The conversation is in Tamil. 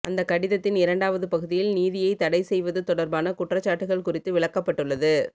அந்த கடிதத்தின் இரண்டாவது பகுதியில் நீதியை தடைசெய்வது தொடர்பான குற்றச்சாட்டுகள் குறித்து விளக்கப்பட்டுள்ளது